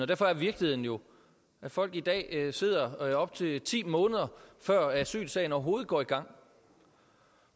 derfor er virkeligheden jo at folk i dag sidder i op til ti måneder før asylsagen overhovedet går i gang